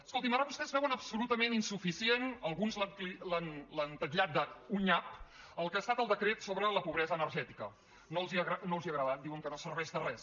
escoltin ara vostès veuen absolutament insuficient alguns l’han titllat d’un nyap el que ha estat el decret sobre la pobresa energètica no els ha agradat diuen que no serveix de res